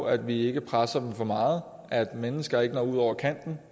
at vi ikke presser dem for meget at de mennesker ikke når ud over kanten